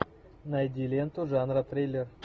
найди ленту жанра триллер